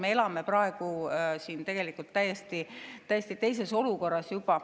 Aga me elame praegu täiesti teises olukorras.